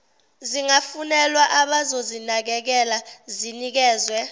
zingafunelwa abazozinakekela zinikezwe